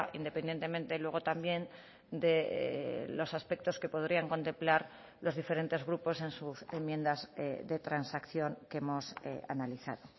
independientemente luego también de los aspectos que podrían contemplar los diferentes grupos en sus enmiendas de transacción que hemos analizado